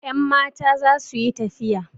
Yanmata za su yi tafiya.